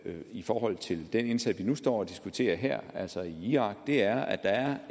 i forhold til den indsats vi nu står og diskuterer her altså i irak er at der er